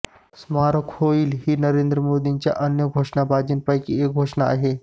स्मारक होईल ही नरेंद्र मोदींच्या अन्य घोषणाबाजींपैकीच एक घोषणा आहे